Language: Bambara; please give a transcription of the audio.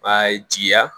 B'a jija